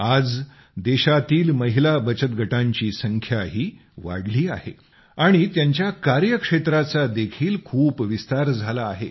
आज देशातील महिला बचत गटांची संख्याही वाढली आहे आणि त्यांच्या कार्यक्षेत्राचा देखील खूप विस्तार झाला आहे